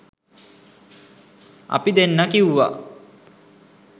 අපි දෙන්න කිව්වා